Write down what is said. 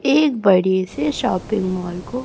एक बड़े से शॉपिंग मॉल को--